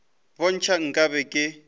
bo ntšha nka be ke